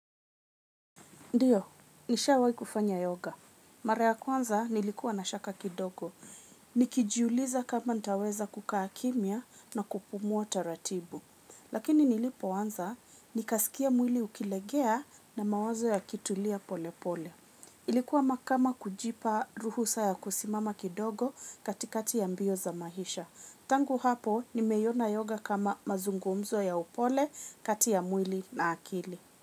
Ndiyo, nisha wai kufanya yoga. Mara ya kwanza nilikuwa na shaka kidogo. Nikijuuliza kama ntaweza kukaakimia na kupumua ta ratibu. Lakini nilipo wanza, nikasikia mwili ukilegea na mawazo ya kitulia pole pole. Ilikuwa makama kujipa ruhusa ya kusimama kidogo katikati ya mbio za mahisha. Tangu hapo, nimeyona yoga kama mazungumzo ya upole katia mwili na akili.